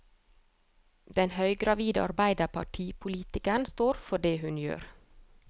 Den høygravide arbeiderpartipolitikeren står for det hun gjør.